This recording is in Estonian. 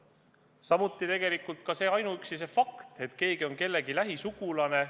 Samuti ei tohiks lähtuda ainuüksi faktist, et keegi on kellegi lähisugulane.